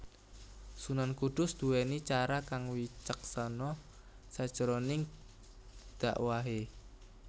Sunan Kudus duwèni cara kang wicaksana sajroning dakwahé